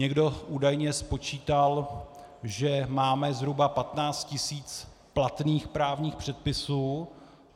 Někdo údajně spočítal, že máme zhruba 15 tisíc platných právních předpisů.